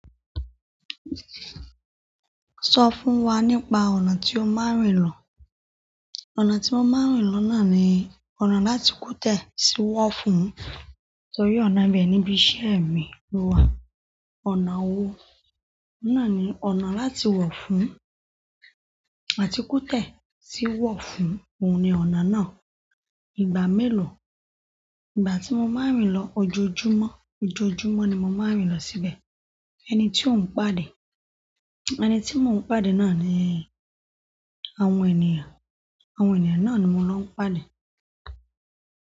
Sọ fún wa nípa ọ̀nà tí o máa ń rìn lọ. Ọ̀nà tí mo máa ń rìn lọ náà ni ọ̀nà láti Kute sí Wofun. Torí ọ̀nà ibẹ̀ ni ibi iṣẹ́ mi wà. Ọ̀nà wo? Náà ni ọ̀nà láti Wofun àti Kute sí Wofun. Ohun ni ọ̀nà náà. Ìgbà mélòó? Ìgbà tí mo máa ń rìn lọ ojoojúmọ́. Ojoojúmọ́ ni mo máa ń rìn lọ síbẹ̀. Ẹni tí ò ń pàdé? Ẹni tí mò ń pàdé náà ni àwọn ènìyàn. Àwọn ènìyàn náà ni mo ń lọ ń pàdé.